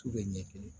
Tu bɛ ɲɛ kelen